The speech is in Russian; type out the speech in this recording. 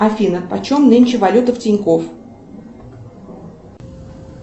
афина почем нынче валюта в тинькофф